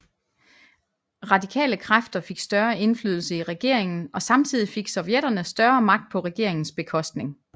Radikale kræfter fik større indflydelse i regeringen og samtidig fik sovjetterne større magt på regeringens bekostning